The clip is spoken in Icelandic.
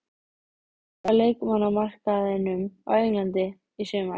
Hvað gerist á leikmannamarkaðinum á Englandi í sumar?